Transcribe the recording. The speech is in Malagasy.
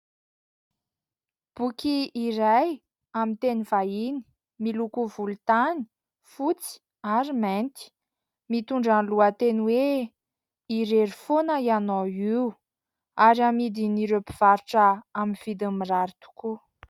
Boky iray amin'ny teny vahiny, miloko volontany, fotsy ary mainty; mitondra ny lohateny hoe "irery foana ianao io" ary amidin''ireo mpivarotra amin'ny vidiny mirary tokoa.